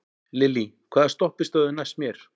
Lillý, hvaða stoppistöð er næst mér?